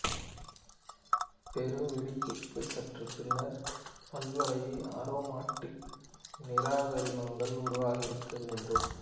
பெரு வெடிப்புக்கு சற்றுப் பின்னர் பல்வளைய அரோமாட்டிக் நீரகக்கரிமங்கள் உருவாகியிருக்க வேண்டும்